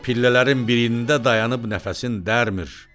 Pillələrin birində dayanıb nəfəsini dərmir.